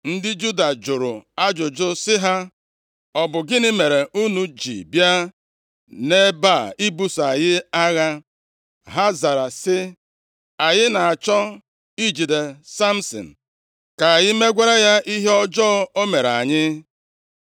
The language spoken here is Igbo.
Ndị Juda jụrụ ajụjụ sị ha; “Ọ bụ gịnị mere unu ji bịa nʼebe a ibuso anyị agha?” Ha zara sị, “Anyị na-achọ ijide Samsin, ka anyị megwara ya ihe ọjọọ o mere anyị.”